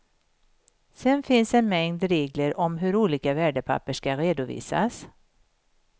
Sen finns en mängd regler om hur olika värdepapper ska redovisas.